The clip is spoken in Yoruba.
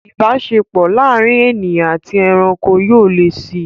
Ìbáṣepọ̀ láàárín ènìyàn àti ẹranko yóò le si